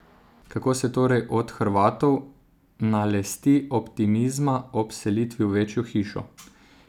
Kako se torej od Hrvatov nalesti optimizma ob selitvi v večjo hišo?